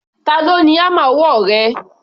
Ta ló ni hámà ọwọ́ rẹ?